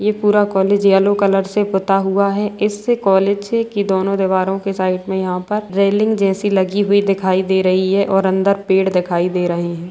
ये पूरा college yellow colour से पुता हुआ है इससे कॉलेज से की दोनों दीवारों के साइड में यहाँ पर रेलिंग जैसी लगी हुई दिखाई दे रही है और अंदर पेड़ दिखाई दे रहें हैं।